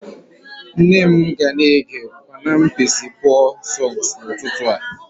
Nne m ga na-ege panam Percy Paul songs n'ụtụtụ a